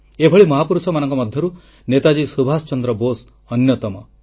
ଏଭଳି ମହାପୁରୁଷମାନଙ୍କ ମଧ୍ୟରୁ ନେତାଜୀ ସୁଭାଷ ଚନ୍ଦ୍ର ବୋଷ ଅନ୍ୟତମ